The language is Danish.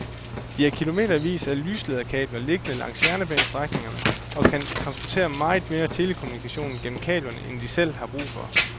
De har kilometervis af lyslederkabler liggende langs jernbanestrækningerne og kan transportere meget mere telekommunikation gennem kablerne end de selv har brug for.